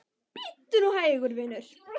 Bíddu nú hægur, vinur.